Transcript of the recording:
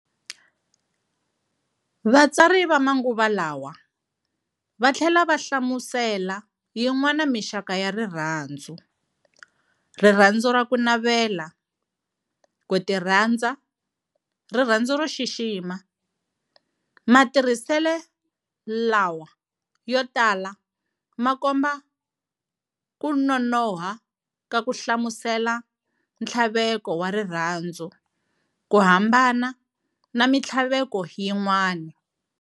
Vatsari va manguva lawa vathlela va hlamisela yin'wana mixaka ya rirhandzu-Rirhandzu ra kunavela, Kutirhandza, rirhandzu ro xixima. Matirhisele lawa yotala ma komba kunonoha ka ku hlamusela nthlaveko wa rirhandzu kuhambana na minthlaveko yin'wana.